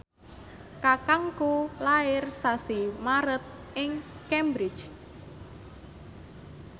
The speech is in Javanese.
kakangku lair sasi Maret ing Cambridge